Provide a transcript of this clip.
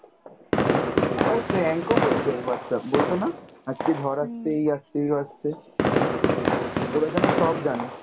আবার prank ও করেছে Whatsapp, বলতোনা আজকে ঝড় এই আসছে ওই আসছে, ওরা যেন সব জানে।